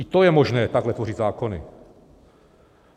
I to je možné, takhle tvořit zákony.